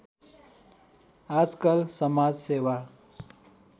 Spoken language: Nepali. आजकल समाजसेवा